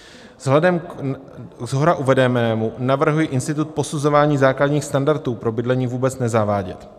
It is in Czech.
Vzhledem ke shora uvedenému navrhuji institut posuzování základních standardů pro bydlení vůbec nezavádět."